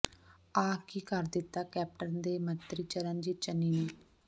ਆਹ ਕੀ ਕਰ ਦਿੱਤਾ ਕੈਪਟਨ ਦੇ ਮੰਤਰੀ ਚਰਣਜੀਤ ਚੰਨੀ ਨੇ